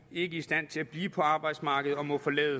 ikke i stand til at blive på arbejdsmarkedet og må forlade